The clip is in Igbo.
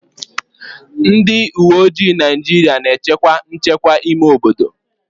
Ndị uweojii Naịjirịa na-echekwa nchekwa ime obodo